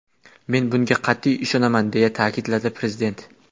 Men bunga qat’iy ishonaman”, deya ta’kidladi Prezident.